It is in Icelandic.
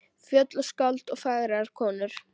Fjöll og skáld og fagrar konur.